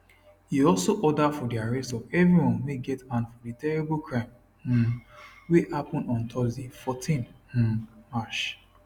e also order for di arrest of everyone wey get hand for di terrible crime um wey happun on thursday 14 um march